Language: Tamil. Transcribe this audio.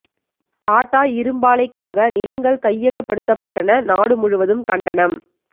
டாடா இரும்பாலைக்காக நிலங்கள் கையகப்படுத்தப்பட்டன நாடு முழுவதும் கண்டனம்